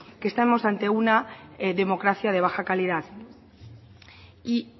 que estamos ante una democracia de baja calidad y